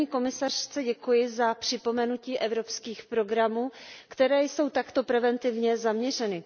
Paní komisařce děkuji za připomenutí evropských programů, které jsou takto preventivně zaměřeny.